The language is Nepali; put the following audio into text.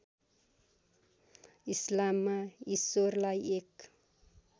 इस्लाममा ईश्वरलाई एक